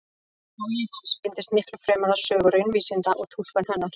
Áhugi hans beindist miklu fremur að sögu raunvísinda og túlkun hennar.